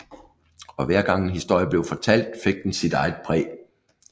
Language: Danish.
Og hver gang en historie blev fortalt fik den sit eget præg